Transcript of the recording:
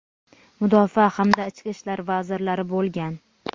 mudofaa hamda ichki ishlar vazirlari bo‘lgan.